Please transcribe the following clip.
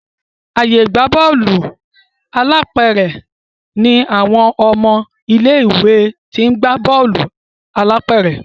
ààyè ìgbà Bọ́ọ̀lù alápẹ̀rẹ̀ ní àwọn ọmọ ilé ìwé t'in gbà Bọ́ọ̀lù alápẹ̀rẹ̀.